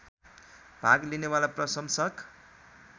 भाग लिनेवाला प्रशंसक